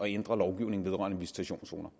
ændre lovgivningen vedrørende visitationszoner